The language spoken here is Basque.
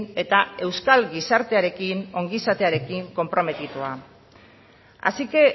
eta euskal gizartearekin ongizatearekin konprometitua así que